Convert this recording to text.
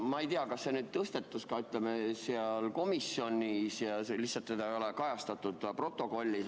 Ma ei tea, kas see tõusetus ka komisjonis, seda ei ole protokollis kajastatud.